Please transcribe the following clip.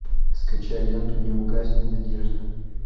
скачай ленту не угаснет надежда